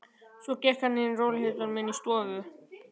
Svo gekk hann í rólegheitum inn í stofuna.